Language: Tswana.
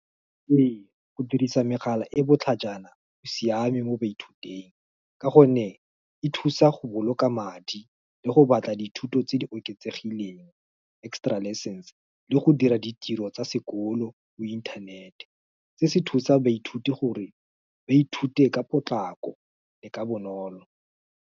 Ee go dirisa megala e botlhajana o siame mo baithuting, ka gonne e thusa go boloka madi le go batla dithuto tse di oketsegileng extra lessons. Le go dira ditiro tsa sekolo mo inthanete, se se thusang baithuti gore ba ithute ka potlako le ka bonolo.